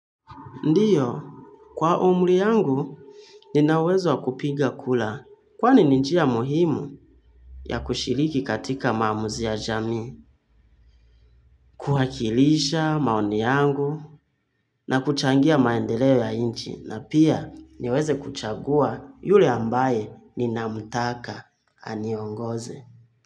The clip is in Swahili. Ndio, kwa umri yangu, nina uwezo wa kupiga kura, kwani ni njia muhimu ya kushiriki katika maamuzi ya jamii, kuwakilisha maoni yangu, na kuchangia maendeleo ya nchi na pia niweze kuchagua yule ambaye ninamtaka aniongoze.